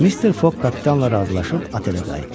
Mister Foq kapitanla razılaşıb otelə qayıtdı.